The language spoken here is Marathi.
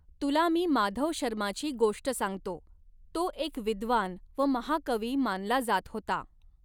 तुला मी माधवशर्माची गोष्ट सांगतो, तो एक विद्वान व महाकवी मानला जात होता.